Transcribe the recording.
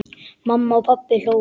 Mamma og pabbi hlógu.